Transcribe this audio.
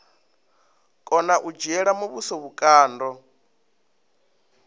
kona u dzhiela muvhuso vhukando